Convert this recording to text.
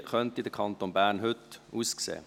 Wie könnte der Kanton Bern heute aussehen?